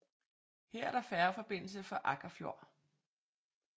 Her er der færgeforbindelse fra Akkarfjord